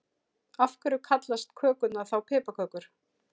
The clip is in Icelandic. Af hverju kallast kökurnar þá piparkökur?